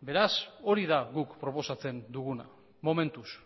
beraz hori da guk proposatzen duguna momentuz